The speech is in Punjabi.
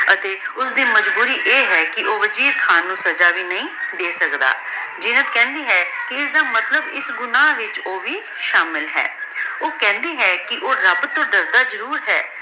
ਅਤੀ ਓਸਦੀ ਮਾਜ੍ਬੋਰੀ ਆਯ ਹੈ ਕੇ ਊ ਮਜੀਦ ਖਾਨ ਨੂ ਸਜ਼ਾ ਵੀ ਨਹੀ ਦੇ ਸਕਦਾ ਜੀਨਤ ਕੇਹ੍ਨ੍ਦੀ ਹੈ ਕੇ ਇਸਦਾ ਮਤਲਬ ਏਸ ਗੁਨਾਹ ਵਿਚ ਊ ਵੀ ਸ਼ਾਮਿਲ ਹੈ ਊ ਕੇਹ੍ਨ੍ਦੀ ਹੈ ਕੇ ਊ ਰਾਬ ਤੋਂ ਡਰਦਾ ਜ਼ਰੁਰ ਹੈ